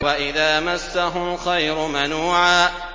وَإِذَا مَسَّهُ الْخَيْرُ مَنُوعًا